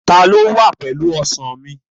Ta ló wà pẹ̀lú Ọsàn mi?